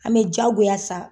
An be jigiya sa